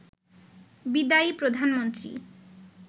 বিদায়ী প্রধানমন্ত্রী